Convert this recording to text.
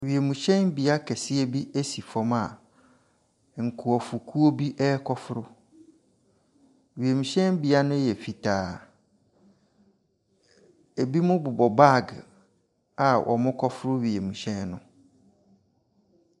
Wiemhyɛnbea kɛseɛ bi si fam a nkrɔfokuo bi rekkɔfo. Wiemhyɛn no yɛ fitaa. Ebinom bobɔ baage a wɔrekɔforo wiemhyɛn no.